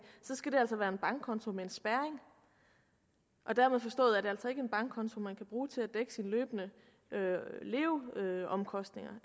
skal det altså være en bankkonto med en spærring dermed forstået at det altså en bankkonto man kan bruge til at dække sine løbende leveomkostninger